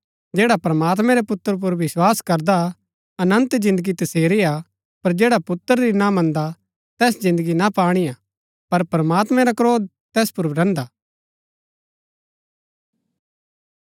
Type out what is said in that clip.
जैडा प्रमात्मैं रै पुत्र पुर विस्वास करदा अनन्त जिन्दगी तसेरी हा पर जैडा पुत्र री ना मन्दा तैस जिन्दगी ना पाणिआ पर प्रमात्मैं रा क्रोध तैस पुर रैहन्दा